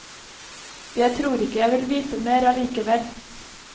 Jeg tror ikke jeg vil vite mer allikevel.